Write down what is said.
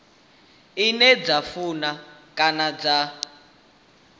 ine dza funa kana dza